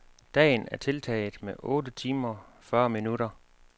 Dagen er tiltaget med otte timer fyrre minutter.